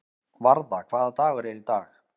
Varða, hvaða dagur er í dag?